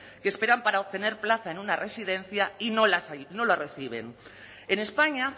que esperan para obtener plaza en una residencia y no la reciben en españa